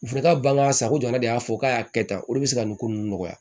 U fana ka ban ka sako joona de y'a fɔ k'a y'a kɛ tan olu de be se ka nin ko ninnu nɔgɔya